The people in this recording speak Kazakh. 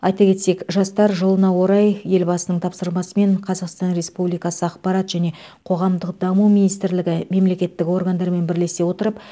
айта кетсек жастар жылына орай елбасының тапсырмасымен қазақстан республикасы ақпарат және қоғамдық даму министрлігі мемлекеттік органдармен бірлесе отырып